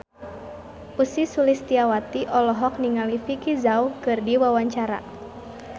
Ussy Sulistyawati olohok ningali Vicki Zao keur diwawancara